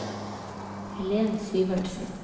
Helen Syvertsen